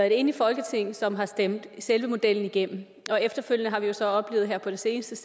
et enigt folketing som har stemt selve modellen igennem og efterfølgende har vi så her på det seneste